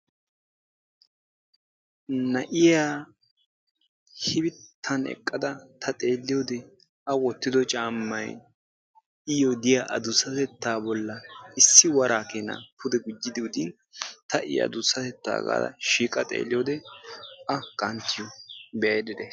Na'iya shifitan eqqada ta xeelliyode a wottido caamay iyoo diya adussatettaa bollan issi waraa keena pude gujjidi odin ta I adusatettaa gaada shiiqa xeelliyode A qanttiyo be'aydda days.